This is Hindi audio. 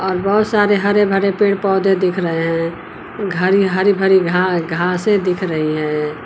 बहोत सारे हरे भरे पेड़ पौधे दिख रहे हैं घरी हरी भरी घा घासें दिख रही हैं।